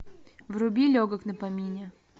вруби легок на помине